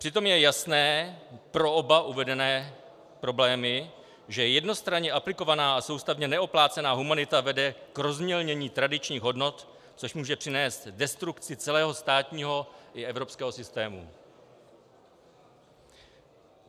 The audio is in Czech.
Přitom je jasné pro oba uvedené problémy, že jednostranně aplikovaná a soustavně neoplácená humanita vede k rozmělnění tradičních hodnot, což může přinést destrukci celého státního i evropského systému.